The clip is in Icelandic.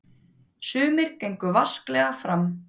Sumir gengu vasklega fram.